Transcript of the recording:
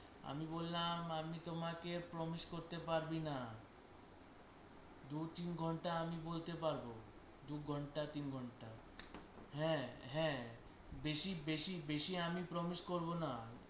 আমি বললাম আমি তোমাকে promise পারবো না দু তিন ঘন্টা আমি বলতে পারবো দু ঘন্টা তিন ঘন্টা হ্যাঁ হ্যাঁ বেশি বেশি বেশি আমি promise করবো না